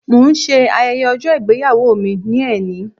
Mo ń ṣe ayẹyẹ ọjọ́ ìgbéyàwó mi ní ẹnì